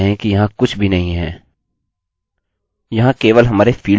हम देख सकते हैं कि यहाँ कुछ भी नहीं है